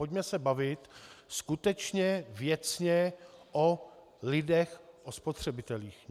Pojďme se bavit skutečně věcně o lidech, o spotřebitelích.